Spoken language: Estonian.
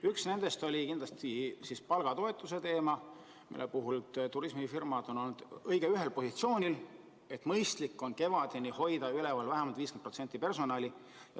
Üks nendest oli kindlasti palgatoetuse teema, mille puhul turismifirmad on olnud vägagi ühel positsioonil, et mõistlik on kevadeni hoida vähemalt 50% personali.